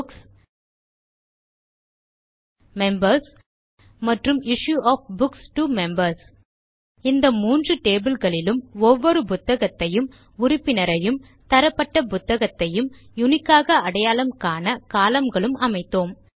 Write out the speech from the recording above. books members மற்றும் issue of books to members இந்த மூன்று டேபிள் களிலும் ஒவ்வொரு புத்தகத்தையும் உறூப்பினரையும் தரப்பட்ட புத்தகத்தையும் யுனிக் ஆக அடையாளம் காண கோலம்ன் களும் அமைத்தோம்